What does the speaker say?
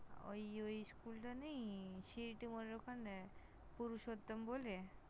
ওই ওই School টা নেই সিঁথির মোড়ের ওখানে পুরুষোত্তম বলে।